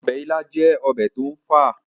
ọbẹ̀ ilá jẹ́ ọbẹ̀ tó ń fà